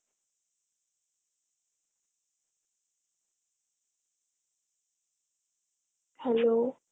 hello